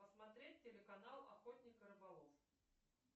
посмотреть телеканал охотник рыболов